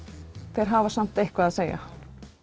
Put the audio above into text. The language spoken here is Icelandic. þeir hafa samt eitthvað að segja